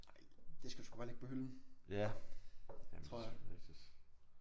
Nej det skal du sgu bare lægge på hylden tror jeg